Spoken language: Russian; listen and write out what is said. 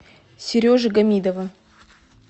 сережи гамидова